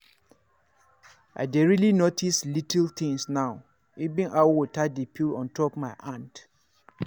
i dey really notice little things now — even how water dey feel on top my hand.